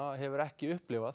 hefur ekki upplifað